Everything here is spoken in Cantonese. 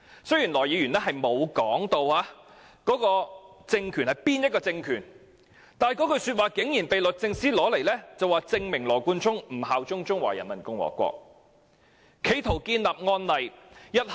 雖然他並沒有說明該政權是哪個政權，但這句話竟然被律政司用作羅冠聰不肯效忠中華人民共和國的證明，並視之為案例。